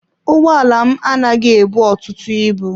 Ụgbọ ala m anaghị ebu ọtụtụ ibu.